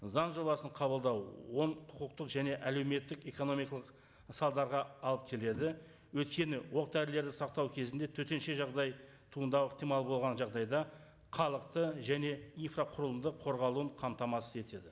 заң жобасын қабылдау оң құқықтық әлеуметтік және экономикалық салдарға алып келеді өйткені оқ дәрілерді сақтау кезінде төтенше жағдай туындау ықтимал болған жағдайда халықты және инфрақұрылымдың қорғалуын қамтамасыз етеді